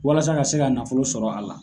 Walasa ka se ka nafolo sɔrɔ a la.